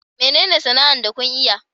Menene sana'ar da kun iya?